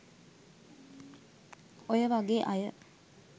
ඔය වගේ අය